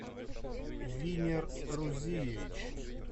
винер рузиевич